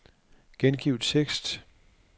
Gengiv tekst.